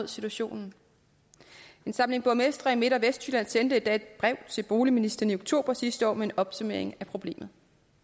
situationen en samling borgmestre i midt og vestjylland sendte endda et brev til boligministeren i oktober sidste år med en opsummering af problemet